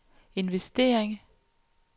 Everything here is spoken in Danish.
investering